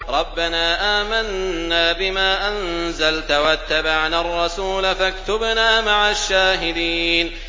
رَبَّنَا آمَنَّا بِمَا أَنزَلْتَ وَاتَّبَعْنَا الرَّسُولَ فَاكْتُبْنَا مَعَ الشَّاهِدِينَ